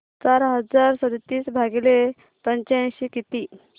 चार हजार सदतीस भागिले पंच्याऐंशी किती